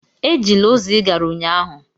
Ejila ụzọ ị gara ụnyaahụ!